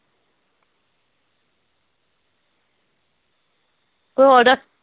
ਹੋਰ